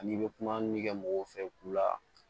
Ani i bɛ kuma minnu kɛ mɔgɔw fɛ kulu la